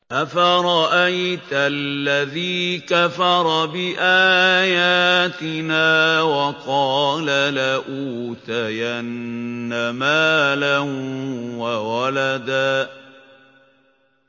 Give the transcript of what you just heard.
أَفَرَأَيْتَ الَّذِي كَفَرَ بِآيَاتِنَا وَقَالَ لَأُوتَيَنَّ مَالًا وَوَلَدًا